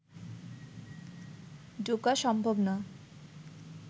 ঢোকা সম্ভব না